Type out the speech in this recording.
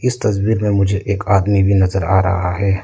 इस तस्वीर मे मुझे एक आदमी भी नजर आ रहा है।